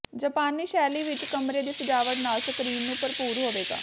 ਜਾਪਾਨੀ ਸ਼ੈਲੀ ਵਿੱਚ ਕਮਰੇ ਦੀ ਸਜਾਵਟ ਨਾਲ ਸਕਰੀਨ ਨੂੰ ਭਰਪੂਰ ਹੋਵੇਗਾ